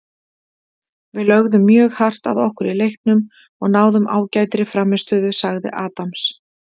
Við lögðum mjög hart að okkur í leiknum og náðum ágætri frammistöðu, sagði Adams.